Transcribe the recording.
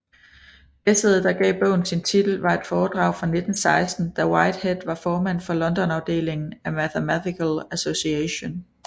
Essayet der gav bogen sin titel var et foredrag fra 1916 da Whitehead var formand for Londonafdelingen af Mathematical Association